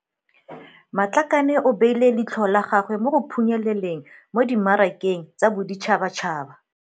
Matlakane o beile leitlho la gagwe mo go phunyeleleng mo dimmarakeng tsa boditšhabatšhaba.